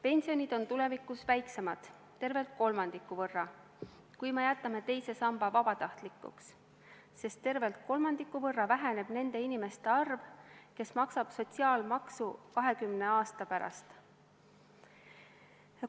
Pensionid on tulevikus väiksemad tervelt kolmandiku võrra, kui me jätame teise samba vabatahtlikuks, sest tervelt kolmandiku võrra väheneb nende inimeste arv, kes maksab 20 aasta pärast sotsiaalmaksu.